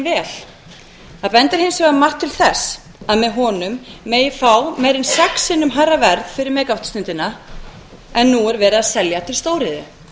vel það bendir hins vegar margt til þess að með honum megi fá meira en sex sinnum hærra verð fyrir mega vattstundina en nú er verið að selja til stóriðju